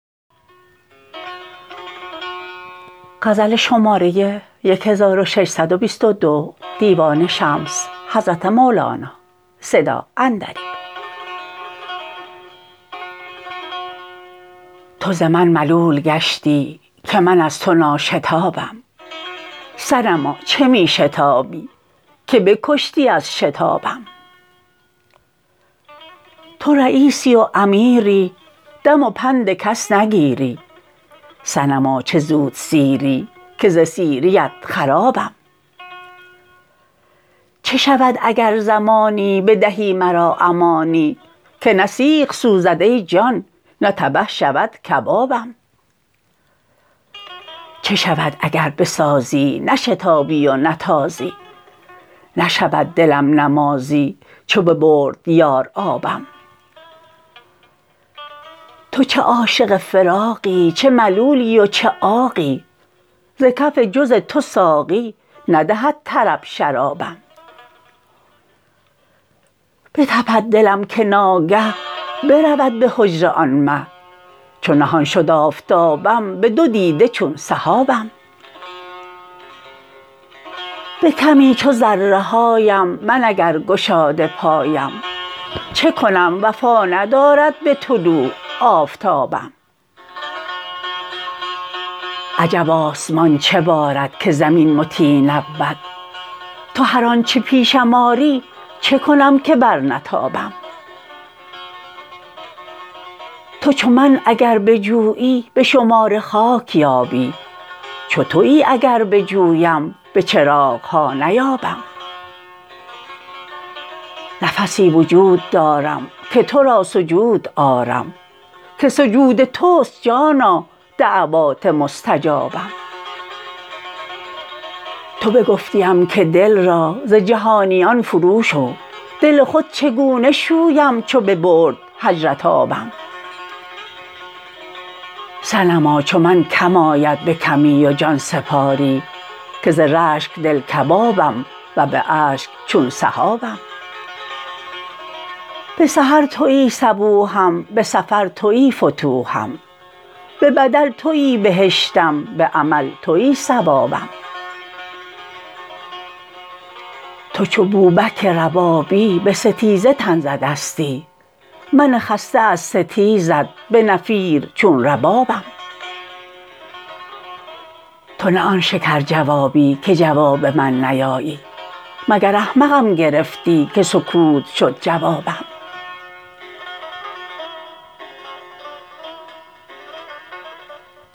تو ز من ملول گشتی که من از تو ناشتابم صنما چه می شتابی که بکشتی از شتابم تو رییسی و امیری دم و پند کس نگیری صنما چه زودسیری که ز سیریت خرابم چه شود اگر زمانی بدهی مرا امانی که نه سیخ سوزد ای جان نه تبه شود کبابم چه شود اگر بسازی نشتابی و نتازی نشود دلم نمازی چو ببرد یار آبم تو چه عاشق فراقی چه ملولی و چه عاقی ز کف بجز تو ساقی ندهد طرب شرابم بتپد دلم که ناگه برود به حجره آن مه چو نهان شد آفتابم به دو دیده چون سحابم به کمی چو ذره هایم من اگر گشاده پایم چه کنم وفا ندارد به طلوع آفتابم عجب آسمان چه بارد که زمین مطیع نبود تو هر آنچ پیشم آری چه کنم که برنتابم تو چو من اگر بجویی به شمار خاک یابی چو توی اگر بجویم به چراغ ها نیابم نفسی وجود دارم که تو را سجود آرم که سجود توست جانا دعوات مستجابم تو بگفتیم که دل را ز جهانیان فروشو دل خود چگونه شویم چو ببرد هجرت آبم صنما چو من کم آید به کمی و جان سپاری که ز رشک دل کبابم و به اشک چون سحابم به سحر توی صبوحم به سفر توی فتوحم به بدل توی بهشتم به عمل توی ثوابم تو چو بوبک ربابی به ستیزه تن زدستی من خسته از ستیزت به نفیر چون ربابم تو نه آن شکرجوابی که جواب من نیابی مگر احمقم گرفتی که سکوت شد جوابم